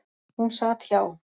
Hún sat hjá.